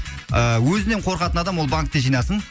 ы өзінен қорқатын адам ол банкте жинасын